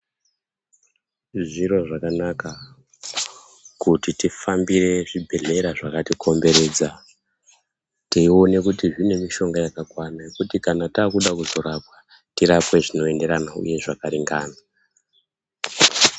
Zviro zvakanaka kuti tifambire zvibhehlera zvakatikomberedza teione kuti zvine mushonga yakakwana yekuti kana Toda kuzorapwa tirapwe zvinoenderana uye zvakaringana.